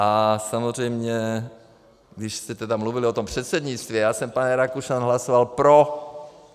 A samozřejmě když jste tedy mluvili o tom předsednictví - já jsem, pane Rakušan, hlasoval pro.